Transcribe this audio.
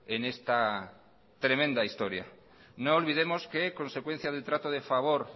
en esta tremenda historia no olvidemos que consecuencia del trato de favor